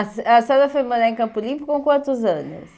A se a senhora foi morar em Campo Limpo com quantos anos?